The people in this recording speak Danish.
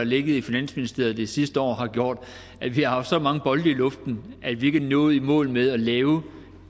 ligget i finansministeriet det sidste år har gjort at vi har haft så mange bolde i luften at vi ikke er nået i mål med at lave